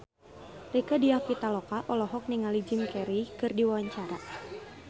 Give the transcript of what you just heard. Rieke Diah Pitaloka olohok ningali Jim Carey keur diwawancara